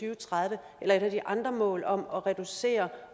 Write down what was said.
og tredive eller et af de andre mål om at reducere